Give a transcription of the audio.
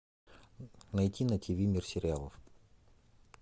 найти на тиви мир сериалов